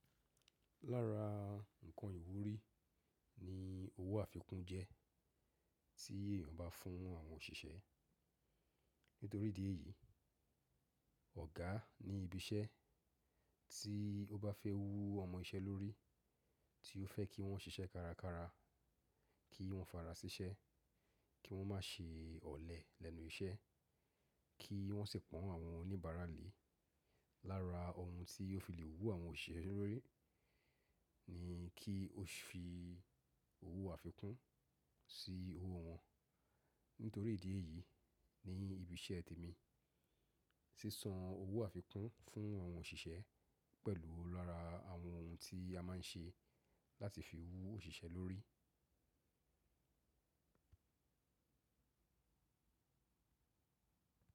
Lára ǹkan ìwúrí ni owó àfikún jẹ́ tí èèyàn bá fún àwọn òṣìṣẹ́. Nítorí ìdí èyí, ọ̀gá ní ibi iṣẹ́ tí ó bá fẹ́ wú ọmọ iṣẹ́ lórí, tí ó fẹ́ kí wọ́n ṣiṣẹ́ kárakára, kí wọ́n fara sí iṣẹ́, kí wọ́n má ṣe ọ̀lẹ lẹ́nu iṣẹ́, kí wọ́n sì pọ́n àwọn oníbàárà lé, lára ohun tí ó fi lè wú àwọn òṣìṣẹ́ lórí ni kí ó fi owó àfikún sí owó wọn. Nítorí ìdí èyí, ní ibi iṣẹ́ temi, sísan owó àfikún fún àwọn òṣìṣẹ́ pẹ̀lú lọ́ra àwọn ohun tí a máa ń ṣe láti fi wú òṣìṣẹ́ lórí.